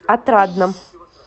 отрадном